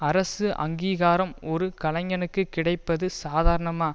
அரசு அங்கீகாரம் ஒரு கலைஞனுக்கு கிடைப்பது சாதாரணமா